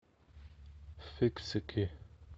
фиксики